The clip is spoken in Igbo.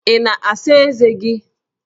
Ị na-asa ezé gị?